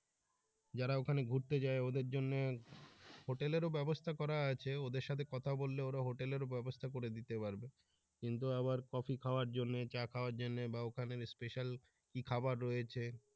যারা ওখানে ঘুরতে যায় ওদের জন্যে হোটেলেরও ব্যাবস্থা করা আছে ওদের সাথে কথা বললে ওরা হোটেলেরও ব্যাবস্থা করে দিতে পারবে কিন্তু আবার কফি খাওয়ার জন্যে চা খাওয়ার জন্যে বা ওখানে special কি খবার রয়েছে